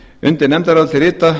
undir nefndarálitið rita